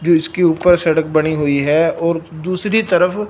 जिसके ऊपर सड़क बनी हुई है और दूसरी तरफ--